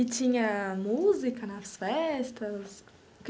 E tinha música nas festas?